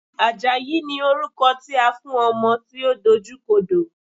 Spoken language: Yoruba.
Àjàyí ni orúkọ tí a fún ọmọ tí ó dojú kodò.